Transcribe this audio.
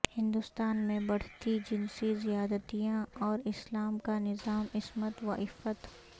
ہندوستان میں بڑھتی جنسی زیادتیاں اور اسلام کا نظام عصمت وعفت